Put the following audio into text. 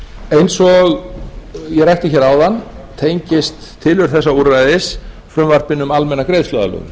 eins og ég rakti áðan tengist tilurð þessa úrræðis frumvarpinu um almenna greiðsluaðlögun